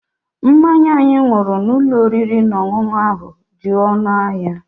Mmanya anyị ṅụrụ n'ụlọ oriri na ọṅụṅụ ahụ dị ọnụ ahịa.